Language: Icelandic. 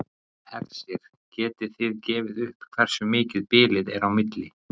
Hersir: Getið þið gefið upp hversu mikið bilið er á milli?